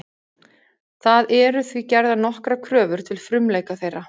Það eru því gerðar nokkrar kröfur til frumleika þeirra.